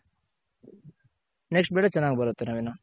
next ಬೆಳೆ next ಬೆಳೆ ಚೆನಾಗ್ ಬರುತ್ತೆ ನವೀನ್.